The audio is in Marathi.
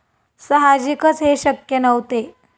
साहजिकच हे शक्य नव्हते.